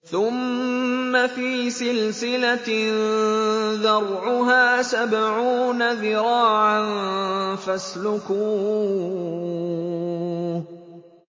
ثُمَّ فِي سِلْسِلَةٍ ذَرْعُهَا سَبْعُونَ ذِرَاعًا فَاسْلُكُوهُ